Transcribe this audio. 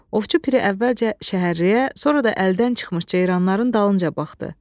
Ovçu piri əvvəlcə şəhərriyə, sonra da əldən çıxmış ceyranların dalınca baxdı.